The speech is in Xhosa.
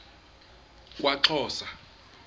kwaxhosa